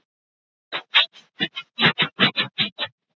Svenni er ekki með sjálfum sér í vinnunni.